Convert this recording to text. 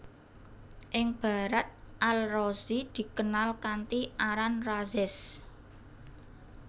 Ing Barat Al Razi dikenal kanthi aran Rhazes